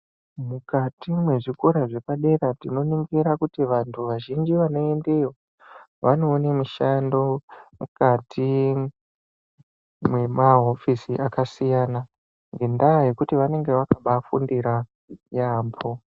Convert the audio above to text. Mukati mwezvikora zvepadera tinoningira kuti vantu vazhinji vanoendeyo vanoone mishando mukati mwemahofisi akasiyana ngendaa yekuti vanenge vakabaafundira yaambo.